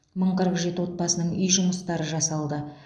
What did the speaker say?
мың қырық жеті отбасының үй жұмыстары жасалды